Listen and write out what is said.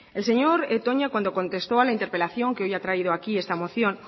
el señor toña cuando contestó a la interpelación que hoy a traído aquí esta moción